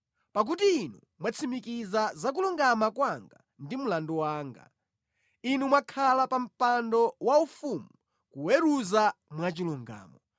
Pakuti Inu mwatsimikiza za kulungama kwanga ndi mlandu wanga; Inu mwakhala pa mpando wanu waufumu, kuweruza mwachilungamo.